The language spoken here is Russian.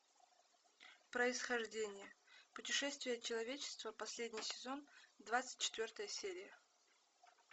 происхождение путешествие человечества последний сезон двадцать четвертая серия